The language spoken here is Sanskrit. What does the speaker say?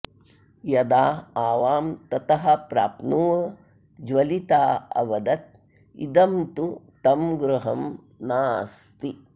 यदा आवां ततः प्राप्नुव ज्वलिता अवदत् इदं तु तं गृहं नास्ति